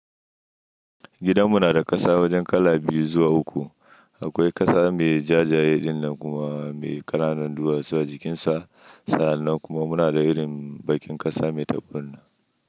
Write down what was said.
Gidan mu na da ƙasa wajen kala biyu zuwa uku. Akwai ƙasa mai jajaye ɗin nan kuma mai kananun duwatsu a jikinsa. Sa'an nan kuma muna da irin bakin ƙasa mai taburma.